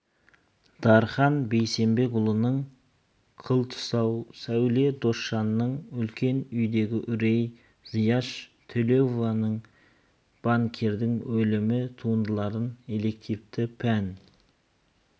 дархан бейсенбекұлының қылтұсау сәуле досжанның үлкен үйдегі үрей зияш төлеуованың банкирдің өлімі туындыларын элективті пән